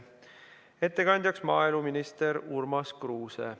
Ettekandjaks on maaeluminister Urmas Kruuse.